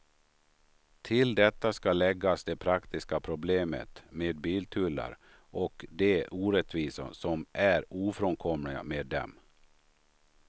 Till detta ska läggas de praktiska problemet med biltullar och de orättvisor som är ofrånkomliga med dem.